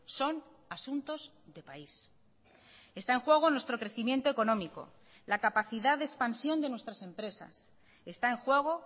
son asuntos de país está en juego nuestro crecimiento económico la capacidad de expansión de nuestras empresas está en juego